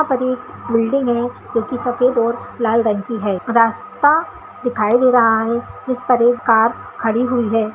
यहां पर एक बिल्डिंग है जो की सफेद और लाल रंग की है रास्ता दिखाई दे रहा है जिस पर एक कार खड़ी हुई है।